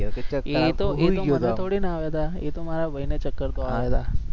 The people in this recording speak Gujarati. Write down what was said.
એ તો એતો મને થોડી ના આવ્યા હતા એ તો મારા ભાઈ ને ચક્કર તો આવ્યા હતા